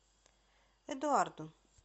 эдуарду